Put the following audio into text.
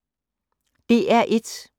DR1